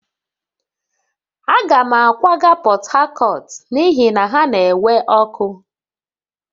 Aga m akwaga Portharcourt n'ihi na ha na-enwe ọkụ